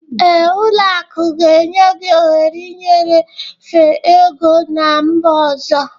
Ee, ụlọ akụ ga-enye gị ohere ịnyefe ego ná mba ọzọ